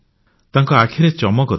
ତାଙ୍କ ଆଖିରେ ଚମକ ଥିଲା